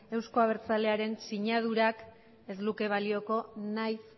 euzko abertzalearen sinadurak ez luke balioko nahiz